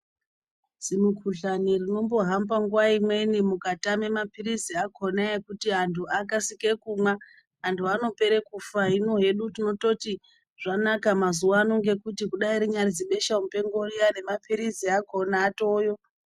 Zvimikhuhlane rinombohamba nguva imweni mukatame mapiritsi akona ekuti andu akasike kumwa andu anopere kufa hino hedu tinototi zvanaka mazuva ano ngokuti kudai rinyari zibesha mupengo riya nemapiritsi akona atoyo.